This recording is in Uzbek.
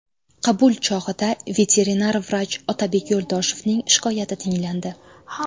Qabul chog‘ida veterinar vrach Otabek Yo‘ldoshevning shikoyati tinglandi.